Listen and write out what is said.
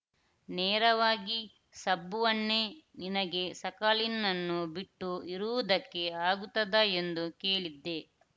ನೇರವಾಗಿ ಶಬ್ಬುವನ್ನೇ ನಿನಗೆ ಸಕಲಿನ್‌ನನ್ನು ಬಿಟ್ಟು ಇರುವುದಕ್ಕೆ ಆಗುತ್ತದಾ ಎಂದು ಕೇಳಿದ್ದೆ